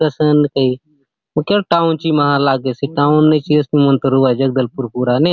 कसन की मोके आले टाउन ची मा लागेसे टाउन ची असनी मन तो रहुआए जगदलपुर पूरा ने --